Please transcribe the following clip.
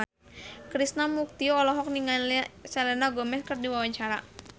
Krishna Mukti olohok ningali Selena Gomez keur diwawancara